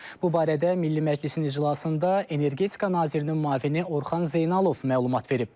Bu barədə Milli Məclisin iclasında energetika nazirinin müavini Orxan Zeynalov məlumat verib.